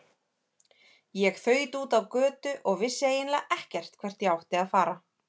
Ég þaut út á götu og vissi eiginlega ekkert hvert ég átti að fara.